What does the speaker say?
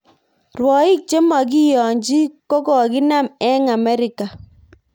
Rwoik chemokiyonji kokokinam eng Amerika